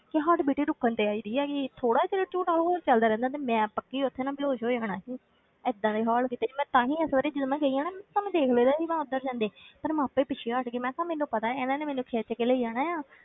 ਕਿ heart beat ਹੀ ਰੁਕਣ ਤੇ ਆਈ ਦੀ ਹੈਗੀ ਸੀ, ਥੋੜ੍ਹਾ ਚਿਰ ਉਹ ਝੂਟਾ ਹੋਰ ਚੱਲਦਾ ਰਹਿੰਦਾ ਤੇ ਮੈਂ ਪੱਕੀ ਉੱਥੇ ਨਾ ਬੇਹੋਸ਼ ਹੋ ਜਾਣਾ ਸੀ ਏਦਾਂ ਦੇ ਹੋਲ ਕਿਤੇ, ਮੈਂ ਤਾਂ ਹੀ ਇਸ ਵਾਰੀ ਜਦ ਮੈਂ ਗਈ ਹਾਂ ਨਾ, ਤੁਹਾਨੂੰ ਦੇਖ ਲਇਆ ਸੀ ਮੈਂ ਉੱਧਰ ਜਾਂਦੇ ਪਰ ਮੈਂ ਆਪੇ ਪਿੱਛੇ ਹਟ ਗਈ ਮੈਂ ਕਿਹਾ ਮੈਨੂੰ ਪਤਾ ਹੈ ਇਹਨਾਂ ਨੇ ਮੈਨੂੰ ਖਿੱਚ ਕੇ ਲੈ ਜਾਣਾ ਆਂ।